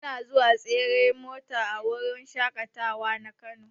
Muna zuwa tseren mota a wurin shaƙatawa na kano.